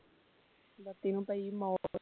ਬੱਤੀ ਨੂੰ ਪਈ ਮੌਤ